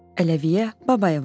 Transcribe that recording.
Əliyə Babayeva.